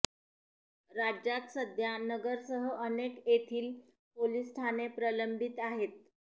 राज्यात सध्या नगरसह अनेक येथील पोलीस ठाणे प्रलंबित आहेत